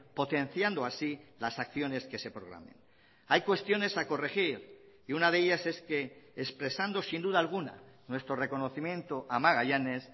potenciando así las acciones que se programen hay cuestiones a corregir y una de ellas es que expresando sin duda alguna nuestro reconocimiento a magallanes